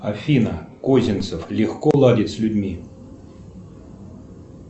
афина козинцев легко ладит с людьми